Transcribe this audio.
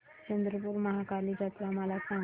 चंद्रपूर महाकाली जत्रा मला सांग